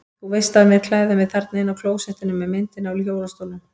Þú veist af mér að klæða mig þarna inni á klósettinu með myndinni af hjólastólnum.